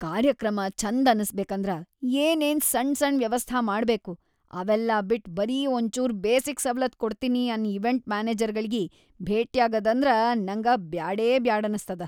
ಕಾರ್ಯಕ್ರಮ್‌ ಛಂದ ಅನಸ್ಬೇಕಂದ್ರ ಏನೇನ್‌ ಸಣ್‌ ಸಣ್‌ ವ್ಯವಸ್ಥಾ ಮಾಡ್ಬೇಕು ಅವೆಲ್ಲಾ ಬಿಟ್ ಬರೀ ಒಂಚೂರ್ ಬೇಸಿಕ್‌ ಸವಲತ್‌ ಕೊಡ್ತಿನಿ ಅನ್ನ ಇವೆಂಟ್‌ ಮ್ಯಾನೆಜರ್ಗಳಿಗಿ ಭೆಟ್ಯಾಗದಂದ್ರ ನಂಗ ಬ್ಯಾಡೇಬ್ಯಾಡನಸ್ತದ.